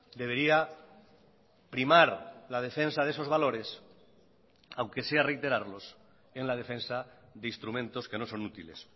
debería primar la defensa de esos valores aunque sea reiterarlos en la defensa de instrumentos que no son útiles